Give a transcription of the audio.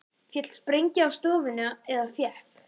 Féll sprengja á stofuna eða fékk